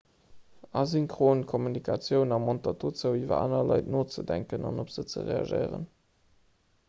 asynchron kommunikatioun ermontert dozou iwwer aner leit nozedenken an op se ze reagéieren